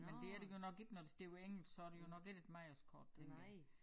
Men det er det godt nok ikke når det står på engelsk så det jo godt nok ikke et Mejers Kort tænker jeg